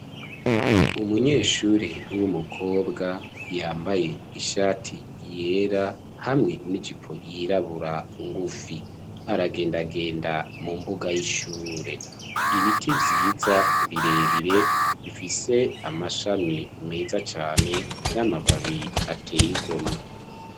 Umunyeshuri w'umukobwa yambaye ishati yera hamwe n'ijipo yirabura ngufi aragendagenda mu mbuga y'ishure. Ibiti vyiza birebire bifise amashami meza cane n'amababi ateyigomwe.